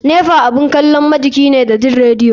Nepa abun kalon majiki ne da jin radio.